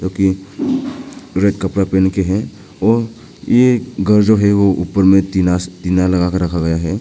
जो कि रेड कपड़ा पहन के है और ये घर जो है ऊपर में टीना से टीना लगा के रखा गया है।